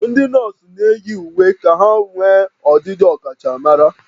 Ndị nọọsụ na-eyi uwe ka ha nwee ọdịdị ọkachamara